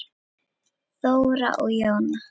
Þóra og Jóna.